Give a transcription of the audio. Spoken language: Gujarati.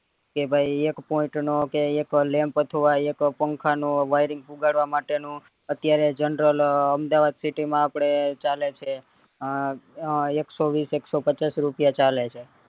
કે ભય એક point નો કે એક lamp અથવા એક પંખા નો wiring પુગાડવા માટે નો અત્યારે general અમદાવાદ city માં આપડે ચાલે છે અ એકસો વિશ એકસો પચાસ રૂપિયા ચાલે છે